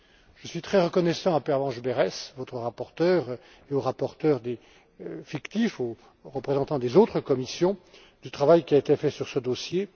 Je suis très reconnaissant à Pervenche Berès, votre rapporteure, aux rapporteurs fictifs et aux représentants des autres commissions, du travail qui a été fait sur ce dossier.